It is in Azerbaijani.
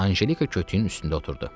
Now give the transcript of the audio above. Anjelika kötüyün üstündə oturdu.